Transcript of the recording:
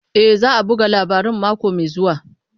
E, za a buga labarin mako mai zuwa.